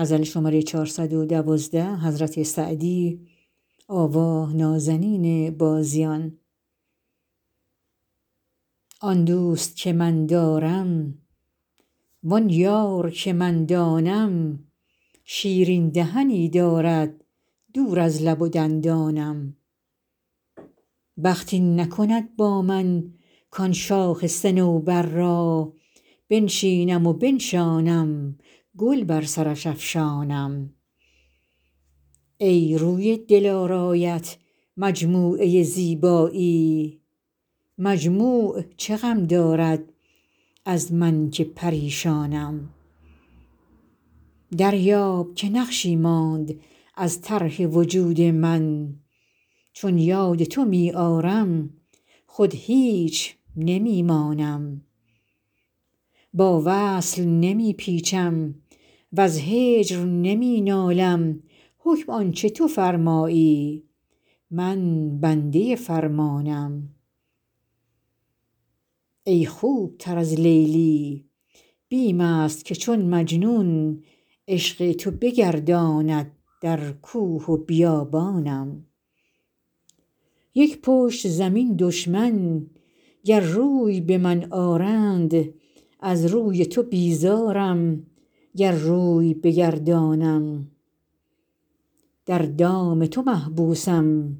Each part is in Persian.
آن دوست که من دارم وآن یار که من دانم شیرین دهنی دارد دور از لب و دندانم بخت این نکند با من کآن شاخ صنوبر را بنشینم و بنشانم گل بر سرش افشانم ای روی دلارایت مجموعه زیبایی مجموع چه غم دارد از من که پریشانم دریاب که نقشی ماند از طرح وجود من چون یاد تو می آرم خود هیچ نمی مانم با وصل نمی پیچم وز هجر نمی نالم حکم آن چه تو فرمایی من بنده فرمانم ای خوب تر از لیلی بیم است که چون مجنون عشق تو بگرداند در کوه و بیابانم یک پشت زمین دشمن گر روی به من آرند از روی تو بیزارم گر روی بگردانم در دام تو محبوسم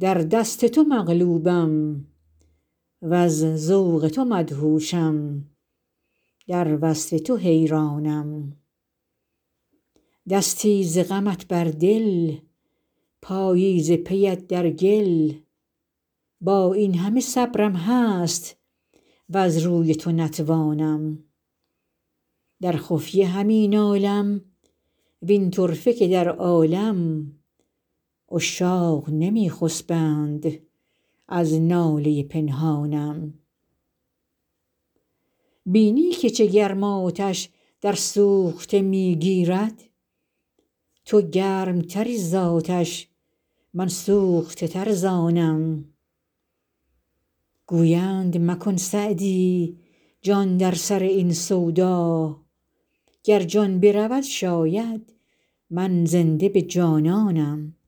در دست تو مغلوبم وز ذوق تو مدهوشم در وصف تو حیرانم دستی ز غمت بر دل پایی ز پی ات در گل با این همه صبرم هست وز روی تو نتوانم در خفیه همی نالم وین طرفه که در عالم عشاق نمی خسبند از ناله پنهانم بینی که چه گرم آتش در سوخته می گیرد تو گرم تری زآتش من سوخته تر ز آنم گویند مکن سعدی جان در سر این سودا گر جان برود شاید من زنده به جانانم